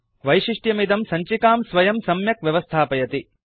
वैशिष्ट्यमिदं सञ्चिकां स्वयं सम्यक् व्यवस्थापयति